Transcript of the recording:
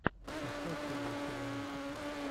поставь первую серию мультиков